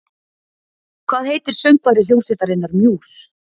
Hvað heitir söngvari hljómsveitarinnar Muse?